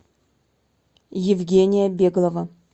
евгения беглова